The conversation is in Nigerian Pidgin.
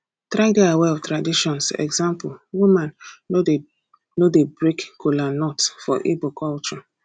try de aware of traditions example woman no de no de break kolanut for igbo culture